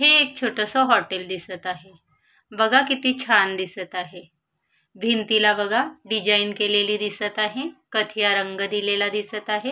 हे एक छोटंसं हॉटेल दिसत आहे बघा किती छान दिसत आहे भिंतीला बघा डिझाईन केलेली दिसत आहे कथिया रंग दिलेला दिसत आहे.